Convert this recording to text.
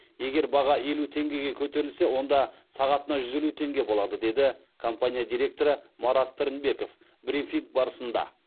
егер баға елу теңгеге көтерілсе онда сағатына жүз елу теңге болады деді компания директоры марат пірінбеков брифинг барысында